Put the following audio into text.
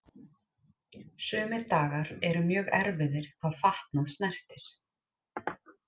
Sumir dagar eru mjög erfiðir hvað fatnað snertir.